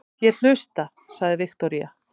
Ég hlusta, sagði Viktoría.